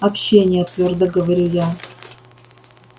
общения твёрдо говорю я